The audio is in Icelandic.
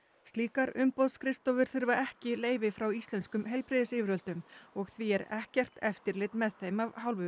slíkar umboðsskrifstofur þurfa ekki leyfi frá íslenskum heilbrigðisyfirvöldum og því er ekkert eftirlit með þeim af hálfu